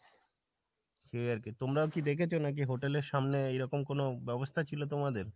সেই আর কি তোমরাও কি দেখেছো নাকি hotel এর সামনে এরকম কোনো ব্যাবস্থা ছিলো তোমাদের?